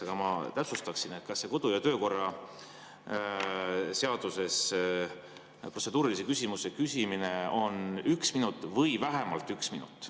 Aga ma täpsustaksin, et kas kodu‑ ja töökorra seaduse järgi on protseduurilise küsimuse küsimiseks üks minut või vähemalt üks minut.